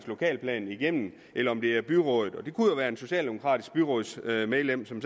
lokalplan igennem eller om det er byrådet og det kunne jo være et socialdemokratisk byrådsmedlem som